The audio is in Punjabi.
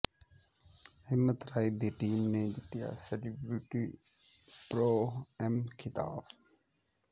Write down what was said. ਹਿੰਮਤ ਰਾਏ ਦੀ ਟੀਮ ਨੇ ਜਿੱਤਿਆ ਸੈਲੀਬਿ੍ਰਟੀ ਪ੍ਰੋ ਐਮ ਖ਼ਿਤਾਬ